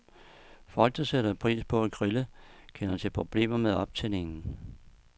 Folk, der sætter pris på at grille, kender til problemer med optændingen.